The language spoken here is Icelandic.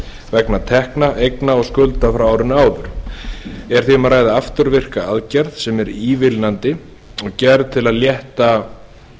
vegna tekna eigna og skulda frá árinu áður er því um að ræða afturvirka aðgerð sem er ívilnandi og gerð til að létta